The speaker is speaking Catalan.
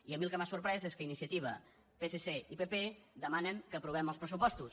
i a mi el que m’ha sorprès és que iniciativa psc i pp demanen que aprovem els pressupostos